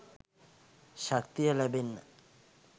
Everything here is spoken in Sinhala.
ශක්තිය ලැබෙන්න